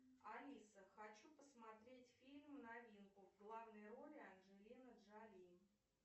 алиса хочу посмотреть фильм новинку в главной роли анджелина джоли